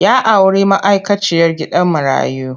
Ya auri ma'aikaciyar gidan marayu.